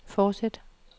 fortsæt